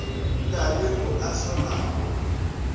na le mo a solago